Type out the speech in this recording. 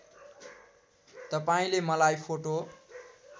तपाईँले मलाई फोटो